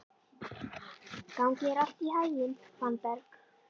Gangi þér allt í haginn, Fannberg.